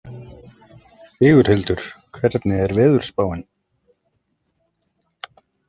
Sigurhildur, hvernig er veðurspáin?